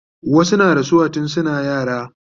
wasu na rasuwa tun suna yara